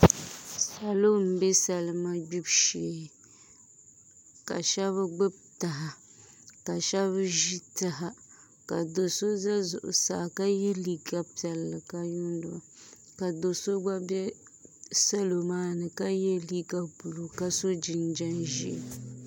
Salo n bɛ salima gbibu shee ka shab gbibi taha ka shab ʒi taha ka do so ʒɛ zuɣusaa ka yɛ liiga piɛlli ka yuundo ka do so gba bɛ salo maa ni ka yɛ liiga buluu ka so jinjɛm ʒiɛ